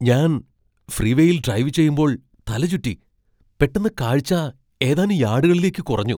ഞാൻ ഫ്രീവേയിൽ ഡ്രൈവ് ചെയ്യുമ്പോൾ തല ചുറ്റി. പെട്ടെന്ന് കാഴ്ച ഏതാനും യാഡുകളിലേക്ക് കുറഞ്ഞു.